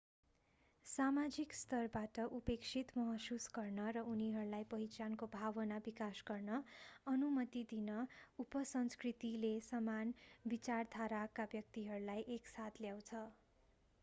सामाजिक स्तरबाट उपेक्षित महसुस गर्न र उनीहरूलाई पहिचानको भावना विकास गर्न अनुमति दिन उपसंस्कृतिले समान विचारधाराका व्यक्तिहरूलाई एक साथ ल्याउँछ